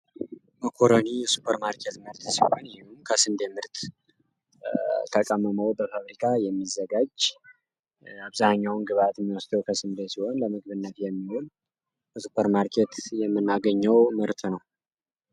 መኮረኒ ከሱፐር ማርኬት ምርት ሲሆን ከስንዴ ምርት ተቀምሞ በፋብሪካ የሚዘጋጅ አብዛኛውን ግብዓት የሚወስደው ከስንዴ ሲሆን ለምግብነት የሚውል በሱፐር ማርኬት የምናገኘው ምርት ነው።